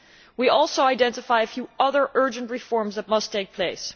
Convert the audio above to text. We also identify a few other urgent reforms that must take place.